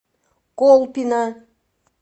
колпино